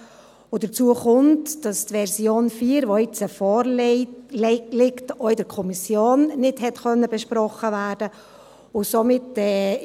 Hinzu kommt, dass die Version 4, die jetzt vorliegt, auch in der Kommission nicht besprochen werden konnte.